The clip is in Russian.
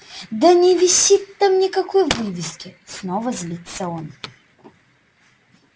да не висит там никакой вывески снова злится он